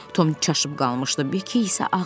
Tom çaşıb qalmışdı.